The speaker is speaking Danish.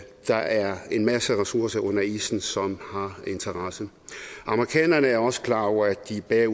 der er en masse ressourcer under isen som har interesse amerikanerne er også klar over at de er